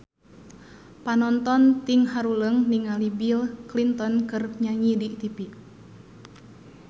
Panonton ting haruleng ningali Bill Clinton keur nyanyi di tipi